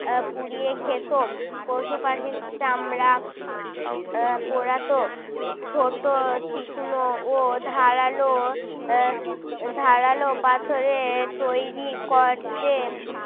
আহ পুড়িয়ে খেত। পশু পাখির চামড়া আহ পোড়াতো। ছোট তীক্ষ্ণ ও ধারালো এর ধারালো পাথরের তৈরী করতেন